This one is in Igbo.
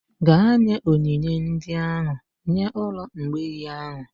Gaa nye onyinye ndị ahụ nye ụlọ mgbei ahụ!